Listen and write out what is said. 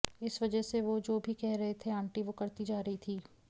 इस वजह से वो जो भी कह रहे थे आंटी वो करती जा रहीं थीं